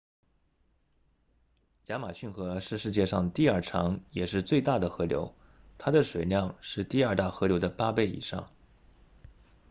亚马逊河是世界上第二长也是最大的河流它的水量是第二大河流的8倍以上